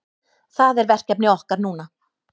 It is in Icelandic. Það er verkefni okkar núna